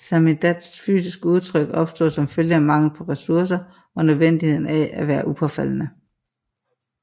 Samizdats fysiske udtryk opstod som følge af mangel på ressourcer og nødvendigheden af at være upåfaldende